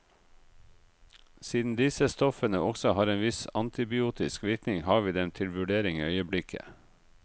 Siden disse stoffene også har en viss antibiotisk virkning, har vi dem til vurdering i øyeblikket.